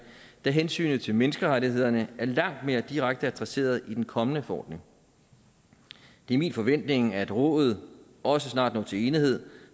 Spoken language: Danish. da hensynet til menneskerettighederne er langt mere direkte adresseret i den kommende forordning det er min forventning at rådet også snart når til enighed